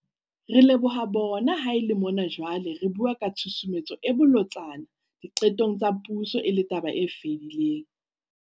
Re leboha bona ha e le mona jwale re bua ka tshusumetso e bolotsana diqetong tsa puso e le taba e fetileng.